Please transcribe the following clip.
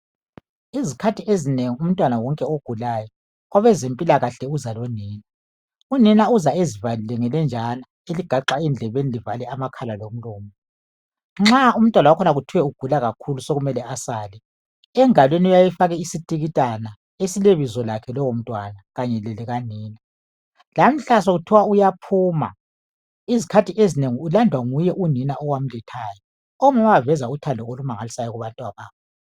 Izikhathi ezinengi umntwana wonke ogulayo kwabezempilakahle uza lonina. Unina uza ezivalile ngelenjana eligaxwa endlebeni elivala amakhala lomlomo. Nxa umntwana wakhona egula kakhulu sokumele asale uyafakwa isitikitana engalweni esilebizo lakhe lowo mntwana kanye lelikanina. Lamhla sokuthiwa uyaphuma izikhathi ezinengi ulandwa nguye nina owamlethayo. Omama baveza uthando olukhulu kakhulu ebantwaneni babo.